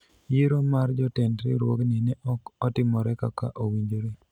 yiero mar jotend riwruogni ne ok otimore kaka owinjore